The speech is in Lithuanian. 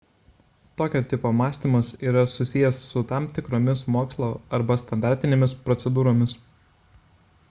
tokio tipo mąstymas yra susijęs su tam tikromis mokslo arba standartinėmis procedūromis